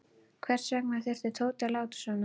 Hvers vegna þurfti Tóti að láta svona.